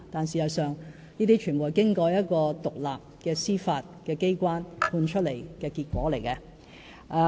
事實上，這些判決全部是經過一個獨立司法機關裁定的結果。